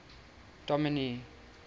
dominee